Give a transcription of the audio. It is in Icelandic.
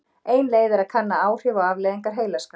ein leið er að kanna áhrif og afleiðingar heilaskaða